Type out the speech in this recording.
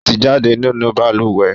O ti jáde nínú balùwẹ́